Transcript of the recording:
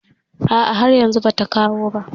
Ah ah, har yanzu ba ta kawo ba